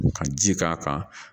Ka ji k'a kan